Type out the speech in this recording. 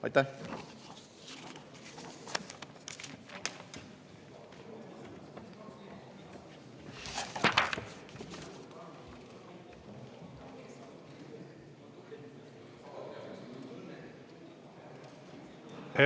Aitäh!